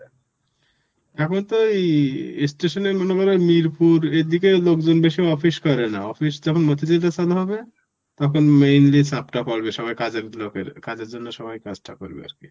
এখন তো এই অ্যাঁ station এ মনেকরো মিরপুর এদিকের লোকজন বেশি office করে না. office যখন মতিঝিলটা চালু হবে, তখন mainly চাপটা পড়বে. সবাই কাজের লোকের~ কাজের জন্য সবাই কাজটা করবে আরকি